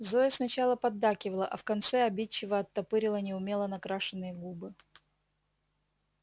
зоя сначала поддакивала а в конце обидчиво оттопырила неумело накрашенные губы